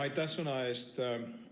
Aitäh sõna eest!